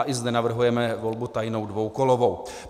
A i zde navrhujeme volbu tajnou, dvoukolovou.